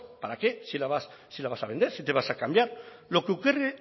para qué si la vas a vender si te vas a cambiar